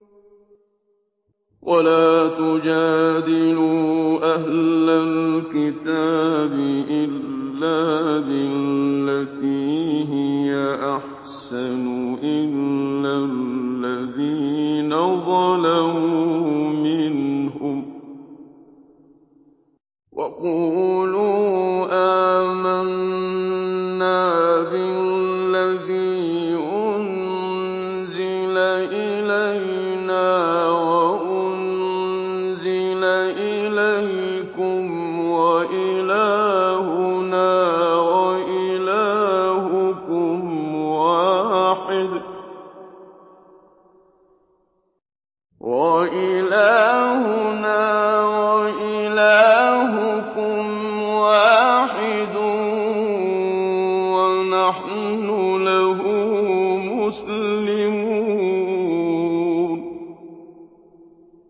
۞ وَلَا تُجَادِلُوا أَهْلَ الْكِتَابِ إِلَّا بِالَّتِي هِيَ أَحْسَنُ إِلَّا الَّذِينَ ظَلَمُوا مِنْهُمْ ۖ وَقُولُوا آمَنَّا بِالَّذِي أُنزِلَ إِلَيْنَا وَأُنزِلَ إِلَيْكُمْ وَإِلَٰهُنَا وَإِلَٰهُكُمْ وَاحِدٌ وَنَحْنُ لَهُ مُسْلِمُونَ